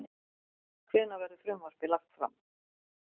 Hvenær verður frumvarpið lagt fram?